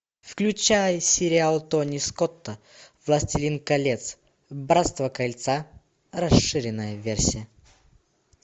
включай сериал тони скотта властелин колец братство кольца расширенная версия